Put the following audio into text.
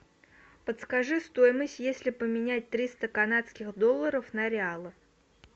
подскажи стоимость если поменять триста канадских долларов на реалы